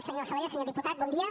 senyor salellas senyor diputat bon dia